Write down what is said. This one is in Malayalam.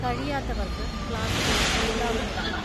കഴിയാത്തവർക്ക് ക്ലാസുകൾ നൽകാവുന്നതാണ്.